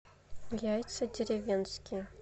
яйца деревенские